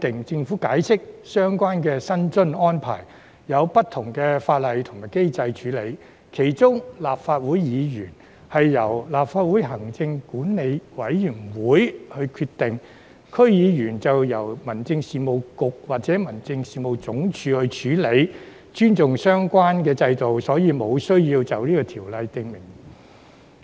政府解釋，相關薪津安排有不同法例和機制處理，其中立法會議員薪津是由立法會行政管理委員會決定，區議員薪津則由民政事務局或民政事務總署處理，為尊重相關制度，所以無須在《條例草案》中訂明。